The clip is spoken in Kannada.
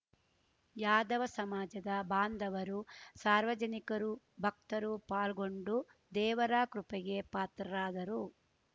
ಯಾದವ ಸಮಾಜದ ಬಾಂದವರು ಸಾರ್ವಜನಿಕರು ಬಕ್ತರು ಪಾಲ್ಗೊಂಡು ದೇವರ ಕೃಪೆಗೆ ಪಾತ್ರರಾದರು